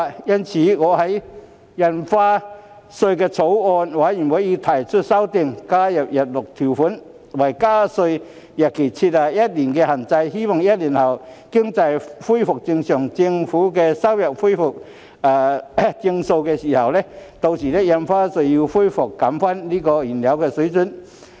因此，我已就《2021年收入條例草案》提出修正案，加入日落條款，為加稅日期設下一年的限制，希望在一年後經濟恢復正常，政府收入亦回復正常的時候，將印花稅回復原來水平。